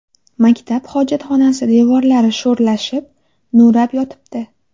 Maktab hojatxonasi devorlari sho‘rlashib, nurab yotibdi.